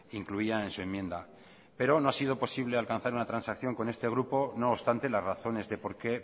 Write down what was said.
incluían en su enmienda pero no ha sido posible alcanzar una transacción con este grupo no obstante las razones de por qué